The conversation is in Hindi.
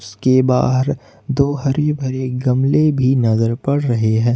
के बाहर दो हरे भरे गमले भी नजर पड़ रहे है।